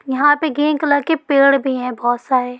यहा पे green colour के पेड़ भी है बहुत सारे ।